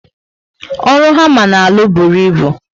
Ọrụ hama na alụ bụrụ ịbụ